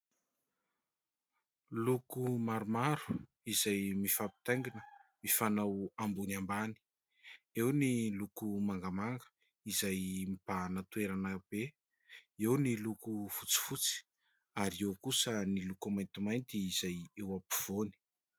Loko maromaro izay mifampitaingina, mifanao ambony ambany. Eo ny loko mangamanga izay mibahana toerana be, eo ny loko fotsifotsy ary eo kosa ny loko maintimainty izay eo ampovoany.